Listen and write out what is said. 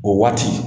O waati